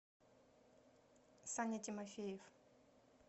саня тимофеев